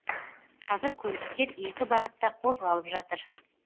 қазір көліктер екі бағытта қозғалып жатыр